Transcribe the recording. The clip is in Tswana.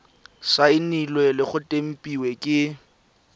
saenilwe le go tempiwa ke